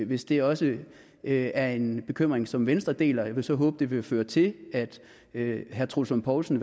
hvis det også er en bekymring som venstre deler jeg vil så håbe det vil føre til at herre troels lund poulsen